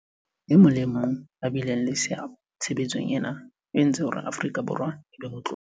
E mong le e mong ya bileng le seabo tshebetsong ena o entse hore Afrika Borwa e be motlotlo.